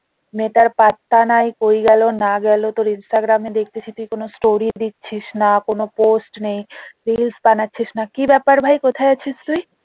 মেয়েটার পাত্তা নাই কই গেলো না গেলো তোর ইনস্টাগ্রাম এ দেখতেছি তুই কোনো story দিছিস না কোনো post নেই reels বানাচ্ছিস না কি ব্যাপার ভাই কোথায় আছিস তুই?